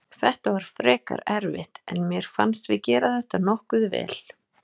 Þetta var frekar erfitt en mér fannst við gera þetta nokkuð vel.